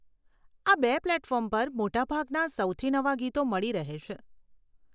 આ બે પ્લેટફોર્મ પર મોટા ભાગના સૌથી નવા ગીતો મળી રહે છે.